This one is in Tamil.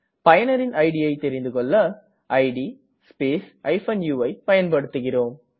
பயனரின் idஐ தெரிந்திகொள்ள இட் ஸ்பேஸ் uஐ பயன்படுத்துகிறேம்